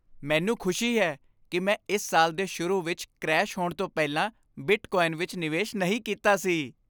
ਮੈਨੂੰ ਖੁਸ਼ੀ ਹੈ ਕਿ ਮੈਂ ਇਸ ਸਾਲ ਦੇ ਸ਼ੁਰੂ ਵਿੱਚ ਕ੍ਰੈਸ਼ ਹੋਣ ਤੋਂ ਪਹਿਲਾਂ ਬਿਟਕੋਆਇਨ ਵਿੱਚ ਨਿਵੇਸ਼ ਨਹੀਂ ਕੀਤਾ ਸੀ।